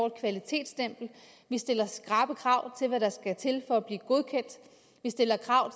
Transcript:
et kvalitetsstempel vi stiller skrappe krav til hvad der skal til for at blive godkendt vi stiller krav